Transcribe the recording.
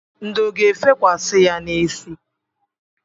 Ndò ga-efekwasi ya n'isi.